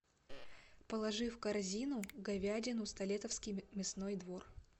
положи в корзину говядину столетовский мясной двор